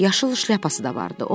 Yaşıl şlyapası da vardı.